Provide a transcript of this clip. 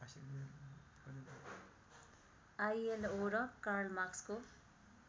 ILO र कार्लमाक्सको